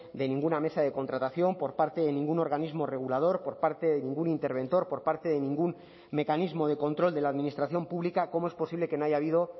de ninguna mesa de contratación por parte de ningún organismo regulador por parte de ningún interventor por parte de ningún mecanismo de control de la administración pública cómo es posible que no haya habido